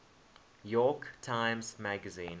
york times magazine